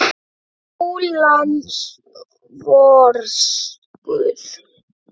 Ó, lands vors guð!